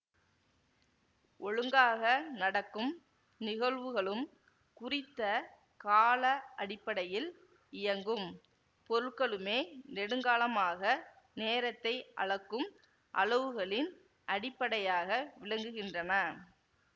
ஒழுங்காக நடக்கும் நிகழ்வுகளும் குறித்த கால அடிப்படையில் இயங்கும் பொருட்களுமே நெடுங்காலமாக நேரத்தை அளக்கும் அலவுகளின் அடிப்படையாக விளங்குகின்றன